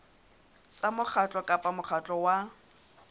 tsa mokgatlo kapa mokgatlo wa